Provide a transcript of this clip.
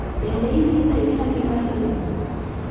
Bende idhiga e chadi mar dalau?